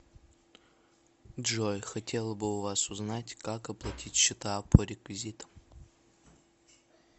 джой хотела бы у вас узнать как оплатить счета по реквизитам